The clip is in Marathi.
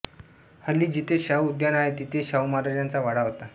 हल्ली जिथे शाहू उद्यान आहे तिथे शाहूमहाराजांचा वाडा होता